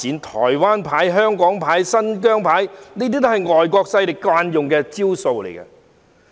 "台灣牌"、"香港牌"、"新疆牌"也是外國勢力慣用的招數。